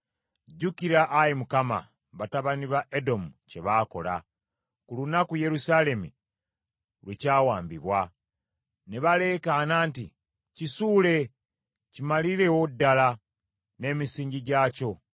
Jjukira, Ayi Mukama , batabani ba Edomu kye baakola, ku lunaku Yerusaalemi lwe kyawambibwa; ne baleekaana nti, “Kisuule, kimalirewo ddala n’emisingi gyakyo.”